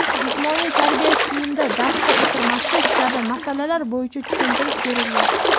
jismoniy tarbiya kiyimida darsda o‘tirmaslik kabi masalalar bo‘yicha tushuntirish berilgan.